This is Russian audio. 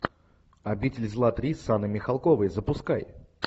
обитель зла три с анной михалковой запускай